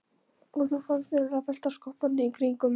Og þá fannst mér allt vera skoppandi í kringum mig.